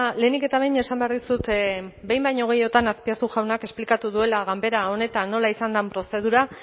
lehenik eta behin esan behar dizut behin baino gehiagotan azpiazu jaunak esplikatu duela ganbera honetan nola izan den prozedura